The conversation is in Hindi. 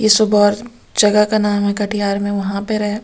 जगह का नाम है कटिहार में वहां पर है।